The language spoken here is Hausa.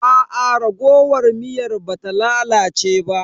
Aa raguwar miyar ba ta lalace ba.